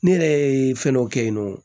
Ne yɛrɛ ye fɛn dɔ kɛ yen nɔ